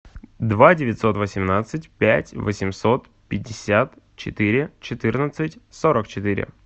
два девятьсот восемнадцать пять восемьсот пятьдесят четыре четырнадцать сорок четыре